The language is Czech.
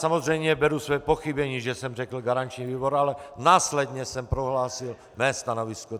Samozřejmě beru své pochybení, že jsem řekl garanční výbor, ale následně jsem prohlásil své stanovisko.